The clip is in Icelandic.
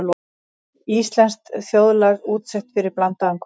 Íslenskt þjóðlag útsett fyrir blandaðan kór.